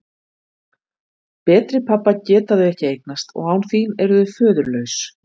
Betri pabba geta þau ekki eignast og án þín eru þau föðurlaus.